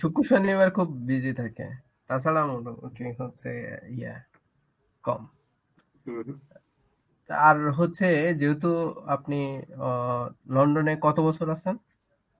শুক্র শনি এবার খুব busy থাকে. তাছাড়া হচ্ছে ইয়ে কম~ আর হচ্ছে যেহেতু আপনি অ্যাঁ লন্ডনে কত বছর আছেন?